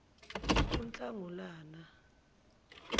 kunhlangulana